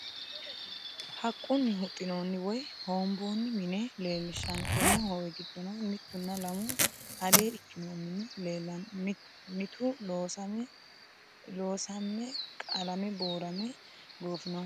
Haqunni huxinooni woyi hoombooni mine leelishanno, tene hooowe gidonni mitunna lamu alee ikkino mini leellanno mitu loosamme qalame buurame goofinohu